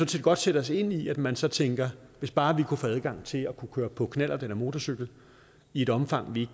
set godt sætte os ind i at man så tænker hvis bare vi kunne få adgang til at kunne køre på knallert eller motorcykel i et omfang vi